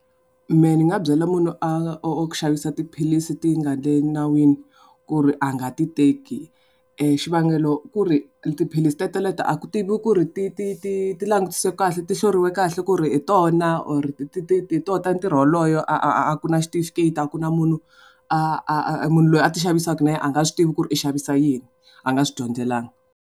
Mehe ni nga byela munhu a wo xavisa tiphilisi ti nga ri nawini ku ri a nga ti teki xivangelo ku ri tiphilisi teteleto a ku tiviwi ku ri ti ti ti ti langutisiwe kahle, ti hloriwe kahle ku ri hi tona or hi tona ta ntirho wolowo a ku na xitifiketi a ku na munhu munhu loyi a ti xavisaka a nga swi tivi ku ri i xavisa yini a nga swi dyondzelanga.